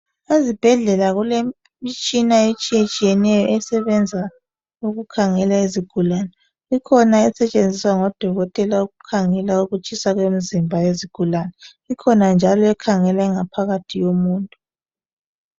Ezibhedlela kulemitshina etshiyetshiyeneyo esebenza ukukhangela izigulani, ikhona esetshenziswa ngodokotela ukukhangela ukutshisa kwemzimba yezgulani, ikhona njalo ekhangela ingaphakathi yomuntu.